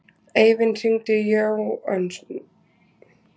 Eivin, hringdu í Jónösu.